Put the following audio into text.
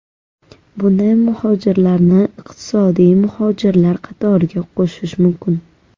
Bunday muhojirlarni iqtisodiy muhojirlar qatoriga qo‘shish mumkin.